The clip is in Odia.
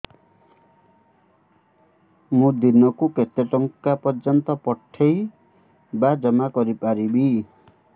ମୁ ଦିନକୁ କେତେ ଟଙ୍କା ପର୍ଯ୍ୟନ୍ତ ପଠେଇ ବା ଜମା କରି ପାରିବି